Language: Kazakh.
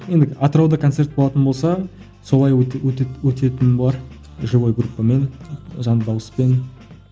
енді атырауда концерт болатын болса солай өтетін болар живой группамен жанды дауыспен